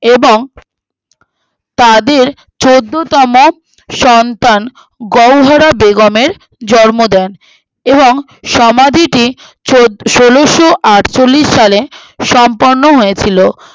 এবং তাদের চোদ্দোতম সন্তান গৌহরা বেগমের জন্ম দেন এবং সমাধিটি চোদ্দ ষোলোআটচল্লিশ সালে সম্পন্ন হয়েছিলো